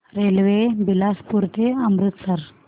railway Bilaspur ते अमृतसर